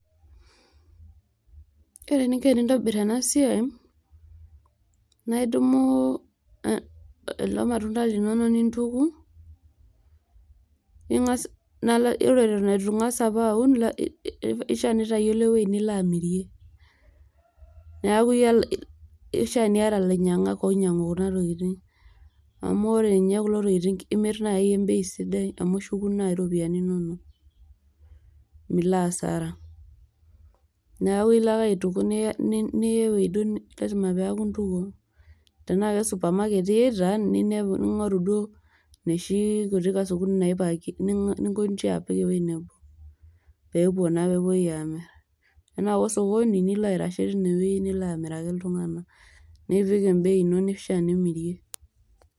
Ore eninko tenintobir ena siai naa idumu a kulo matunda linonok nintuku ningas nalo ore eitu ingas apa aun mmh eishaa nitayiolo ewuei nilo amirie neaku ishiaa niata ilainyangak oinyangu kuna tokitin . amu ore ninye kulo tokitin imir nai embei sidai amu ishuku nai iropiyiani inonok milo hasara . niaku ilo ake aituku niya nilo ewuei lasiama piaku intukuo tenaa kesupermarket iyata niya ningoru duo inoshi kasukun naipakieki ningoji apik ewuei nebo pepuo naa pepuoi amir ,tenaa ko sokoni nilo aitashe tine wuei nilo amiraki iltunganak nipik embei ino nishaa nimirie